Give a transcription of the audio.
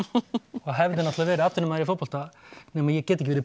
og hefði náttúrulega verið atvinnumaður í fótbolta nema ge get ekki verið